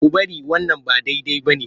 Ku bari wannan ba daidai ba ne!